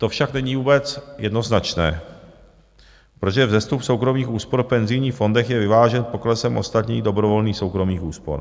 To však není vůbec jednoznačné, protože vzestup soukromých úspor v penzijních fondech je vyvážen poklesem ostatních dobrovolných soukromých úspor.